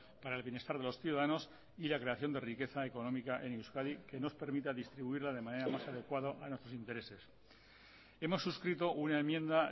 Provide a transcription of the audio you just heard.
para el bienestar de los ciudadanos y la creación de riqueza económica en euskadi que nos permita distribuirla de manera más adecuada a nuestros intereses hemos suscrito una enmienda